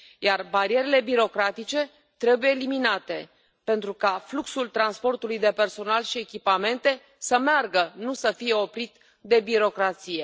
Iar barierele birocratice trebuie eliminate, pentru ca fluxul transportului de personal și echipamente să meargă, nu să fie oprit de birocrație.